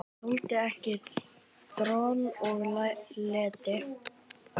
Þoldi ekki droll og leti.